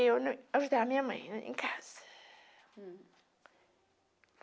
Eu ajudava a minha mãe em casa.